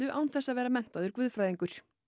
án þess að vera menntaður guðfræðingur